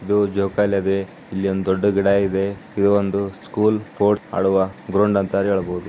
ಇದು ಜೋಕಾಲಿ ಇದೆ ಇಲ್ಲಿ ಒಂದು ದೊಡ್ಡ ಗಿಡ ಇದೆ ಇದು ಒಂದು ಸ್ಕೂಲ್ ಸ್ಪೋರ್ಟ್ ಆಡುವ ಗ್ರೌಂಡ್ ಅಂತಾನೆ ಹೇಳಬಹುದು.